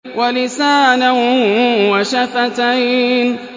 وَلِسَانًا وَشَفَتَيْنِ